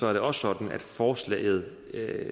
er det også sådan at forslaget